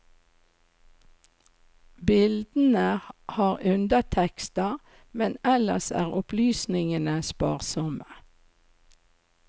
Bildene har undertekster, men ellers er opplysningene sparsomme.